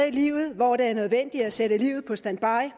i livet hvor det er nødvendigt at sætte livet på standby